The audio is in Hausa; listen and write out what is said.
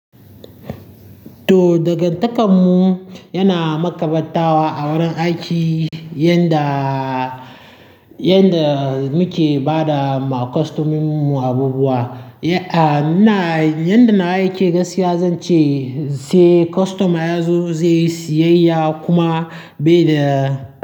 To daga takanmu yana makabartawa a wurin aiki, yanda, yanda muke ba da ma kostominmu abubuwa. Aa, nna, yanda nawa yake gaskiya zan ce sai kostoma ya zo zai yi siyayya kuma bai da.